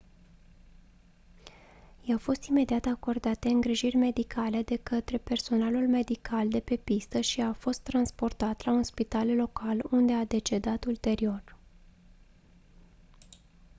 i-au fost imediat acordate îngrijiri medicale de câtre personalul medical de pe pistă și a fost transportat la un spital local unde a decedat ulterior